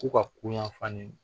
Ko ka kun yanfan